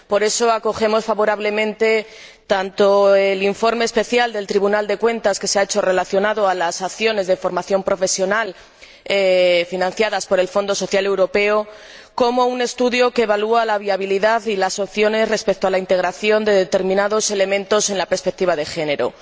Por eso, acogemos favorablemente tanto el informe especial que el Tribunal de Cuentas ha elaborado en relación con las acciones de formación profesional financiadas por el Fondo Social Europeo, como un estudio que evalúa la viabilidad y las opciones respecto a la integración de determinados elementos en la perspectiva de género.